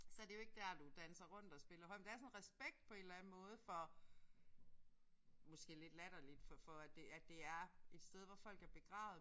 Så er det jo ikke der du danser rundt og spiller høj. Men der er sådan en respekt på en eller anden måde for måske lidt latterligt for at det at det er et sted hvor folk er begravet